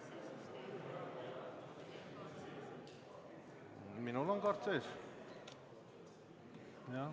Aa!